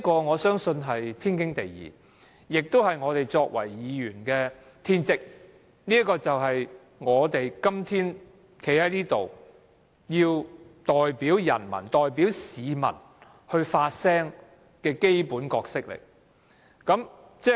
我相信這是天經地義，是我們作為議員的天職，這亦是我們今天站在這裏代表人民和市民發聲的基本角色。